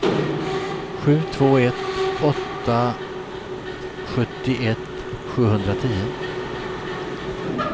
sju två ett åtta sjuttioett sjuhundratio